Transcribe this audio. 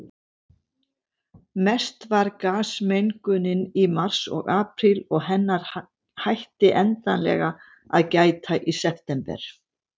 Mest var gasmengunin í mars og apríl, og hennar hætti endanlega að gæta í september.